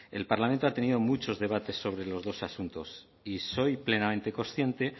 el parlamento ha tenido muchos debates sobre los dos asuntos y soy plenamente consciente